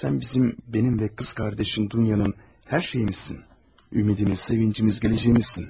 Sən bizim, mənim və bacın Dunyanın hər şeyimizsən, ümidimiz, sevincimiz, gələcəyimizsən.